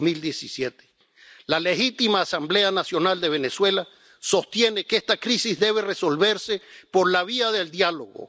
2017. La legítima Asamblea Nacional de Venezuela sostiene que esta crisis debe resolverse por la vía del diálogo.